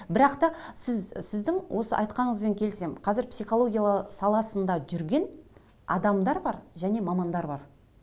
бірақ та сіз сіздің осы айтқаныңызбен келісемін қазір психология саласында жүрген адамдар бар және мамандар бар